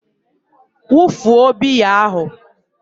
wufuo biya ahụ!